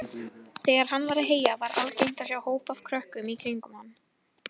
Þegar hann var að heyja var algengt að sjá hóp af krökkum í kringum hann.